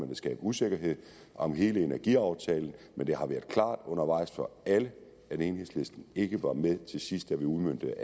vil skabe usikkerhed om hele energiaftalen men det har været klart undervejs for alle at enhedslisten ikke var med til sidst da vi udmøntede